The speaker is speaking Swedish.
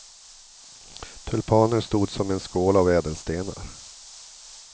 Tulpaner stod som en skål av ädelstenar.